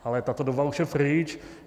Ale tato doba už je pryč.